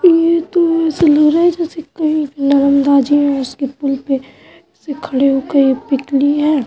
ये तो नरमदा जी हैं उसके पुल पे से खड़े होके ये पिक ली है।